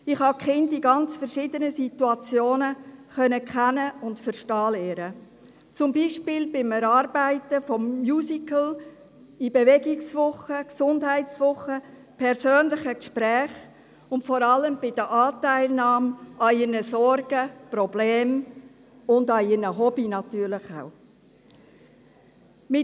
Ich habe die Kinder in ganz verschiedenen Situationen kennen und verstehen lernen können, zum Beispiel beim Erarbeiten von Musicals, in Bewegungswochen, Gesundheitswochen, in persönlichen Gesprächen, und insbesondere bei der Anteilnahme an ihren Sorgen, Problemen und natürlich auch den Hobbies.